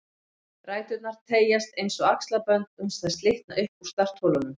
Ræturnar teygjast eins og axlabönd uns þær slitna upp úr startholunum